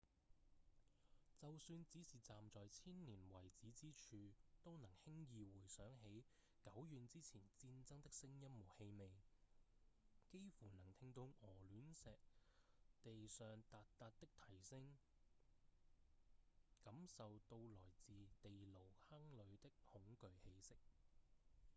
就算只是站在千年遺址之處都能輕易回想起久遠之前戰爭的聲音和氣味幾乎能聽到鵝卵石地上達達的蹄聲感受到來自地牢坑裡的恐懼氣息